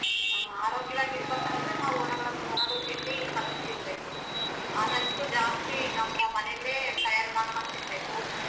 ಆ~ ಆರೋಗ್ಯವಾಗಿ ಇರ್ಬೇಕಂದ್ರೆ ನಾವು ಹೊರಗಡೆ ತಿಂಡಿ ಕಡಿಮೆ ತಿನ್ಬೇಕು ಆದಷ್ಟು ಜಾಸ್ತಿ ನಮ್ಮ ಮನೇಲೆ ತಯಾರ್ ಮಾಡ್ಕೊಂಡ್ ತಿನ್ಬೇಕು.